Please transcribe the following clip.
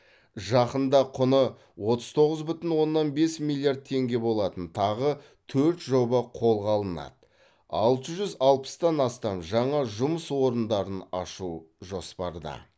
жақында құны отыз тоғыз бүтін оннан бес миллиард теңге болатын тағы төрт жоба қолға алынады алты жүз алпыстан астам жаңа жұмыс орындарын ашу жоспарда